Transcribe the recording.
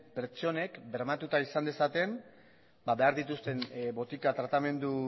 pertsonek bermatuta izan dezaten behar dituzten botika tratamendu